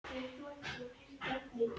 Og það var erfitt að elska hann.